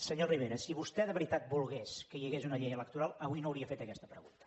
senyor rivera si vostè de veritat volgués que hi hagués una llei electoral avui no hauria fet aquesta pregunta